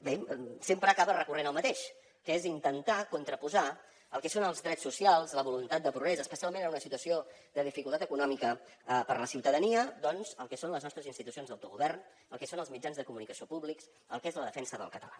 bé sempre acaba recorrent al mateix que és intentar contraposar el que són els drets socials la voluntat de progrés especialment en una situació de dificultat econòmica per a la ciutadania doncs el que són les nostres institucions d’autogovern el que són els mitjans de comunicació públics el que és la defensa del català